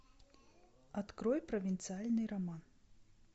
открой провинциальный роман